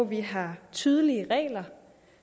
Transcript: vi har tydelige regler